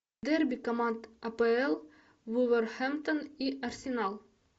дерби команд апл вулверхэмптон и арсенал